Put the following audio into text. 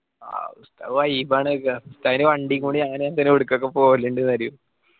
ആഹ് ഉസ്ത vibe ആണ് ക്കാ ഉസ്താതിൻ്റെ വണ്ടി കൊണ്ട് ഞാൻ എവിടകൊക്കെ പോവലിണ്ട് ന്ന് അറിയോ